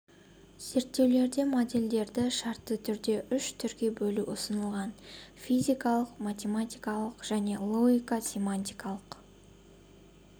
зерттеулерде модельдерді шартты түрде үш түрге бөлу ұсынылған физикалық математикалық және логика-семиотикалық